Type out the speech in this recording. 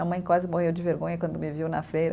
A mãe quase morreu de vergonha quando me viu na feira.